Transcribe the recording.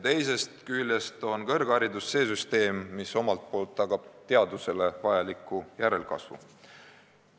Teisest küljest on kõrgharidus see süsteem, mis omalt poolt tagab teadusele vajaliku järelkasvu.